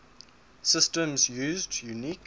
systems used unique